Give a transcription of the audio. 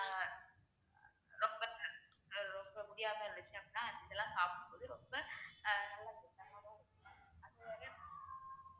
ஆஹ் ரொம்ப ரொம்ப முடியாத இருந்துச்சு அப்படின்னா இதெல்லாம் சாப்பிடும்போது ரொம்ப அஹ் நல்லது அது